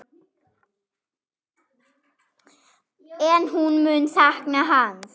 En hún mun sakna hans.